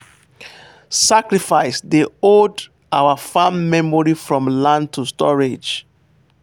sacrifice dey hold our farm memory from land to storage.